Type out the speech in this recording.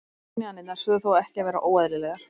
Ofskynjanir þurfa þó ekki að vera óeðlilegar.